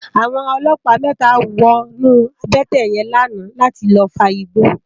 Awòn òlòpá mètá wònú àbètè yèn làná làtí lòfágbó